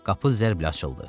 Qapı zərblə açıldı.